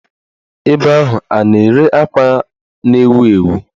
Ebe ahụ a na-ere akwa a na-ewu ewu?